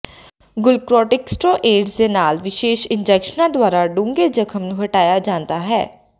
ਗੁਲੂਕੋੋਰਟਿਕਸਟੀਰੋਇਡਜ਼ ਦੇ ਨਾਲ ਵਿਸ਼ੇਸ਼ ਇੰਜੈਕਸ਼ਨਾਂ ਦੁਆਰਾ ਡੂੰਘੇ ਜ਼ਖ਼ਮ ਨੂੰ ਹਟਾਇਆ ਜਾਂਦਾ ਹੈ